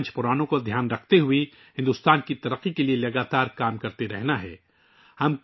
ہمیں پنچ پران کو ذہن میں رکھتے ہوئے ہندوستان کی ترقی کے لیے مسلسل کام کرنا ہے